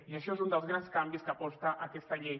i això és un dels grans canvis que aporta aquesta llei